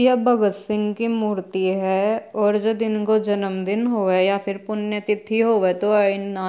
यह भगत सिंह की मूर्ति है और जो दिन उनको जन्मदिन होवे या फिर पुण्यतिथि होवे तो --